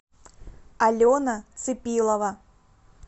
алена цепилова